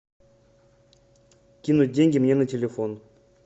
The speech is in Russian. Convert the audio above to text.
кинуть деньги мне на телефон